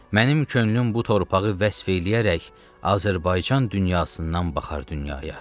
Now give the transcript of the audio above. Mənim könlüm bu torpağı vəsf eləyərək Azərbaycan dünyasından baxar dünyaya.